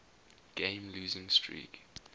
game losing streak